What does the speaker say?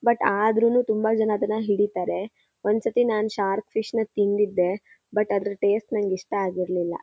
But ಆದ್ರೂನು ತುಂಬ ಜನ ಅದನ್ನ ಹಿಡೀತಾರೆ ಒಂದ್ಸತಿ ನಾನ್ ಶಾರ್ಕ್ ಫಿಶ್ ನ ತಿಂದಿದೆ ಬಟ್ ಅದ್ರ ಟೇಸ್ಟ್ ನಂಗೆ ಇಷ್ಟ ಆಗಿರ್ಲಿಲ್ಲ.